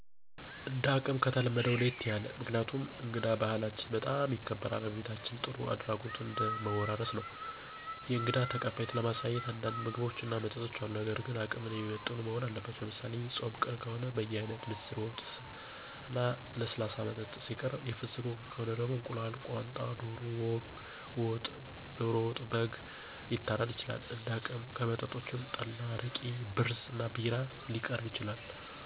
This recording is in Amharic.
እንደ አቅም ከተለመደው ለየት ያለ። ምክንያቱም እንግዳ በባህላችን በጣም ይከበራል ከቤታችን ጥሩ አድራጎትን እንድን ወራረስ ነው። የእንግዳ ተቀባይነትን ለማሳየት አንዳንድ ምግቦች እና መጠጦች አሉ ነገር ግን አቅምን የሚመጥኑ መሆን አለበት። ለምሳሌ፦ የፆም ቀን ከሆነ በየአይነት፣ ምስር ወጥ፣ እና ለስላሳ መጠጥ ሲቀርብ የፍስክ ወቅት ከሆነ፦ እንቁላል፣ ቋንጣ፣ ዶሮ ወጥ፣ በግም ሊታረድ ይችላል እንደ አቅም። ከመጠጦችም፣ ጠላ አረቂ፣ ብርዝ እና ቢራ ሊቀርብ ይችላል።